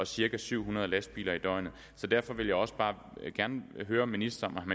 cirka syv hundrede lastbiler i døgnet så derfor vil jeg også bare gerne høre ministeren om